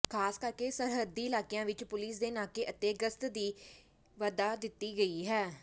ਖਾਸ ਕਰਕੇ ਸਰਹੱਦੀ ਇਲਾਕਿਆਂ ਵਿੱਚ ਪੁਲਿਸ ਦੇ ਨਾਕੇ ਅਤੇ ਗਸਤ ਵੀ ਵਧਾ ਦਿੱਤੀ ਗਈ ਹੈ